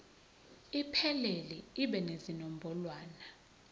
iphelele ibe nezinombolwana